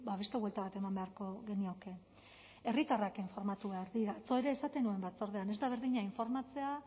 beste buelta bat eman beharko genioke herritarrak informatu behar dira atzo ere esaten nuen batzordean ez da berdina informatzea